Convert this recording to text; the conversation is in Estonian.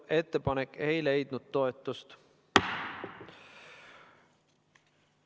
Ettepanek ei leidnud toetust.